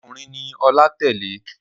Ọkùnrin ni Ọlá tẹ́lẹ̀.